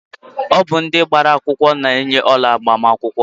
Ọ bụ ndị gbara akwụkwọ na eyi ọla agbamakwụkwọ